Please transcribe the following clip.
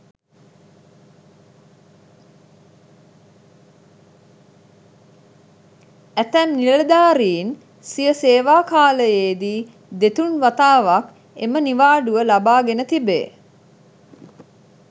ඇතැම් නිලධාරින් සිය සේවා කාලයේදී දෙතුන් වතාවක් එම නිවාඩුව ලබා ගෙන තිබේ.